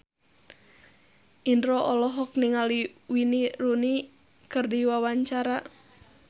Indro olohok ningali Wayne Rooney keur diwawancara